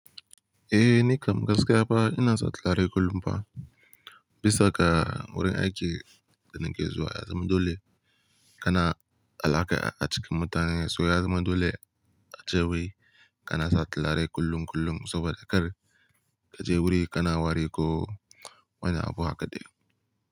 Eh ni kam gaskiya fa ina sa turare kullum fa. Bisa ga wurin aiki da nake zuwa ya zama dole kana alaƙa a cikin mutane. Soya zama dole ace wai kana sa tillare kullum kullum saboda kar ka je wuri kana wari ko wani abu hake dai.